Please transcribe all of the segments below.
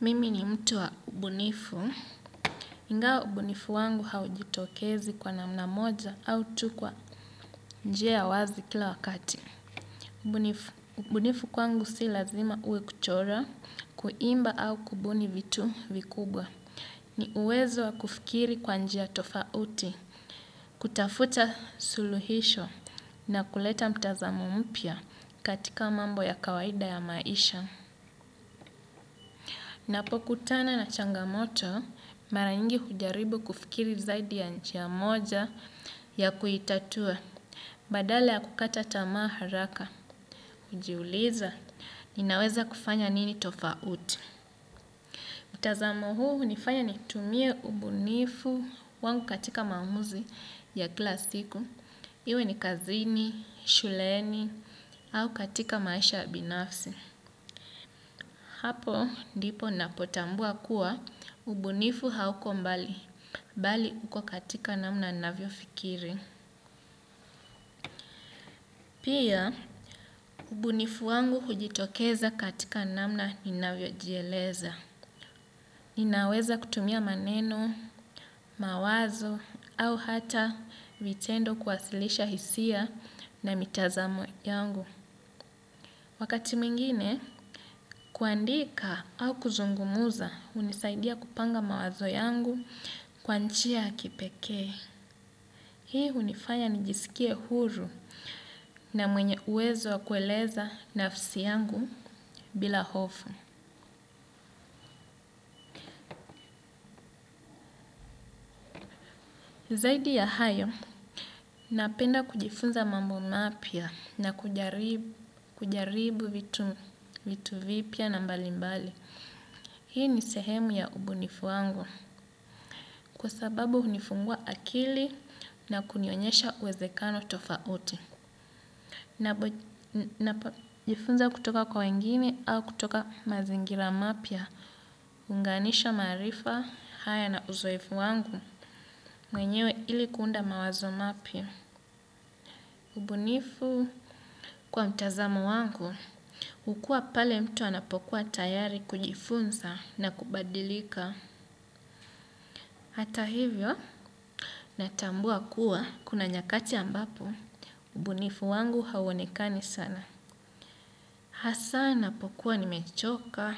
Mimi ni mtu wa ubunifu, ingawa ubunifu wangu haujitokezi kwa namna moja au tu kwa njia ya wazi kila wakati. Ubunifu kwangu si lazima iwe kuchora, kuimba au kubuni vitu vikubwa. Ni uwezo wa kufikiri kwa njia tofauti, kutafuta suluhisho na kuleta mtazamo mpya katika mambo ya kawaida ya maisha. Napo kutana na changamoto, mara nyingi hujaribu kufikiri zaidi ya njia moja ya kuitatua. Badala ya kukata tamaa haraka, hujiuliza, ninaweza kufanya nini tofauti. Mutazamo huu hunifanya nitumie ubunifu wangu katika maamuzi ya kila siku. Iwe ni kazini, shuleni, au katika maisha ya binafsi. Hapo ndipo napotambua kuwa ubunifu hauko mbali, bali uko katika namna navyo fikiri. Pia ubunifu wangu hujitokeza katika namna ni navyo jieleza. Ninaweza kutumia maneno, mawazo au hata vitendo kuwasilisha hisia na mitazamo yangu. Wakati mwingine, kuandika au kuzungumuza, hunisaidia kupanga mawazo yangu kwa njia ya kipekee. Hii hunifanya nijisikie huru na mwenye uwezo wa kueleza nafsi yangu bila hofu. Zaidi ya hayo, napenda kujifunza mambo mapya na kujaribu vitu vipya na mbalimbali. Hii ni sehemu ya ubunifu wangu, kwa sababu hunifungua akili na kunionyesha uwezekano tofauti. Na jifunza kutoka kwa wengine au kutoka mazingira mapya, kuunganisha maarifa, haya na uzoefu wangu, mwenyewe ili kuunda mawazo mapya. Ubunifu kwa mtazamo wangu, hukua pale mtu anapokuwa tayari kujifunza na kubadilika. Hata hivyo, natambua kuwa kuna nyakati ambapo, ubunifu wangu hauonekani sana. Hasa napokuwa nimechoka,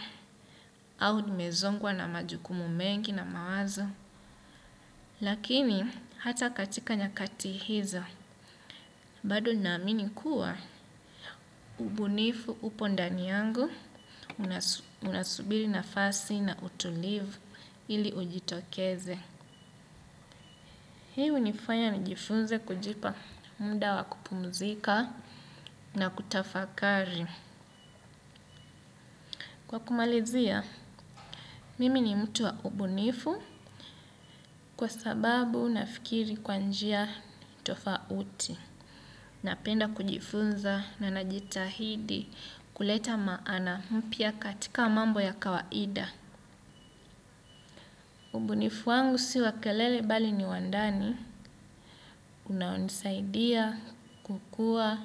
au nimezongwa na majukumu mengi na mawazo. Lakini, hata katika nyakati hizo, bado na amini kuwa ubunifu upo ndani yangu unasubiri nafasi na utulivu ili ujitokeze. Hii hunifanya nijifunze kujipa muda wa kupumzika na kutafakari. Kwa kumalizia, mimi ni mtu wa ubunifu kwa sababu nafikiri kwa njia tofauti. Napenda kujifunza na najitahidi kuleta maana mpya katika mambo ya kawaida. Ubunifu wangu si wa kelele bali ni wa ndani unaonisaidia kukua,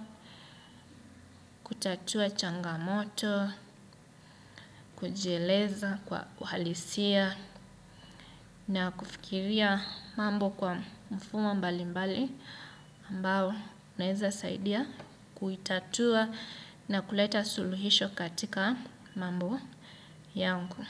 kutatua changamoto, kujieleza kwa uhalisia na kufikiria mambo kwa mfumo mbali mbali ambao unaeza saidia kuitatua na kuleta suluhisho katika mambo yangu.